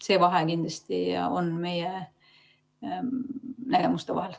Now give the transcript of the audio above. See vahe kindlasti meie nägemustel on.